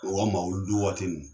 O ma mawuludi waati ninnu